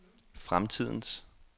fremtidens